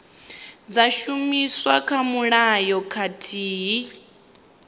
dza shumiswa kha mulayo khathihi